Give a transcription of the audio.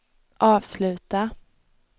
avsluta